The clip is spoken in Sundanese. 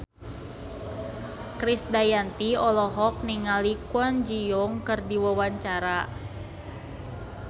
Krisdayanti olohok ningali Kwon Ji Yong keur diwawancara